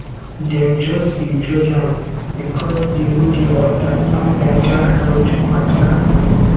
dem just dey judge am because dey no dey understand mental health mata